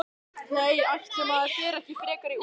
Nei, ætli maður fari ekki frekar í úlpu.